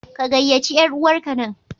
Ka gayyaci yar'uwarka nan!